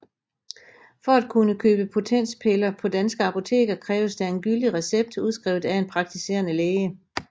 For at kunne købe potenspiller på danske apoteker kræves der en gyldig recept udskrevet af en praktiserende læge